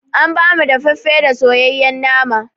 An ba mu daffafe da soyayen nama